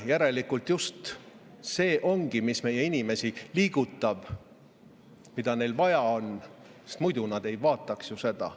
Järelikult just see ongi see, mis meie inimesi liigutab ja mida neil vaja on, sest muidu nad ei vaataks seda.